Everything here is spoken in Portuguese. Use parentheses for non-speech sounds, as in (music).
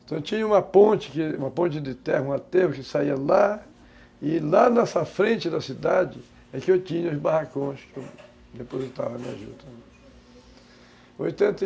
Então tinha uma ponte de, uma ponte de terra, um aterro que saía lá, e lá nessa frente da cidade é que eu tinha os barracões que eu depositava minhas jutas. (unintelligible)